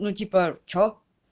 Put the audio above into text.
ну типа что